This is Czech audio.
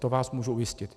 To vás můžu ujistit.